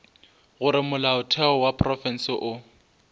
gore molaotheo wa profense o